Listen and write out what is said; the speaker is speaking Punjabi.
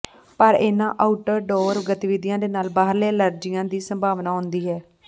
ਪਰ ਇਹਨਾਂ ਆਊਟਡੋਰ ਗਤੀਵਿਧੀਆਂ ਦੇ ਨਾਲ ਬਾਹਰਲੇ ਐਲਰਜੀਆਂ ਦੀ ਸੰਭਾਵਨਾ ਆਉਂਦੀ ਹੈ